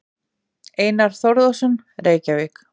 Einar Þórðarson, Reykjavík.